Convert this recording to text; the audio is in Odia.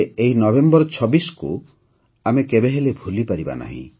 ଏହି ନଭେମ୍ବର ୨୬କୁ ଆମେ କେବେହେଲେ ଭୁଲିପାରିବାନି